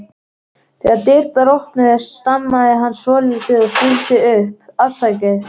Þegar dyrnar opnuðust stamaði hann svolítið og stundi upp: Afsakið